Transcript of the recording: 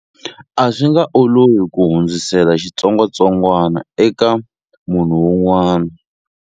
A swi nga olovi ku hundzisela xitsongwatsongwana eka munhu un'wana.